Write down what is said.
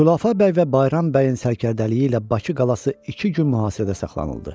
Xulafə bəy və Bayram bəyin sərkərdəliyi ilə Bakı qalası iki gün mühasirədə saxlanıldı.